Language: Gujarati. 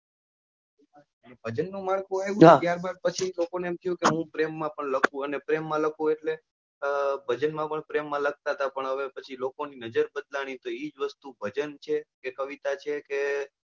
ભજન નું માળખું આવ્યું ત્યાર બાદ પછી લોકો ને એમ થયું કે કે હું પ્રેમ માં પણ લખું અને પ્રેમ માં લખું એટલે ભજન માં પણ પ્રેમ માં પણ પ્રેમ માં લખતા હતા પણ હવે પછી લોકો ની નજર બદલાની એટલે તો એ જ વસ્તુ ભજન છે કે કવિતા છે કે,